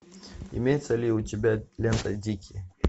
имеется ли у тебя лента дикие